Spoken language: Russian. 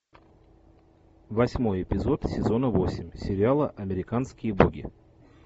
восьмой эпизод сезона восемь сериала американские боги